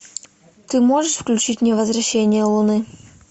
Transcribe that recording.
ты можешь включить мне возвращение луны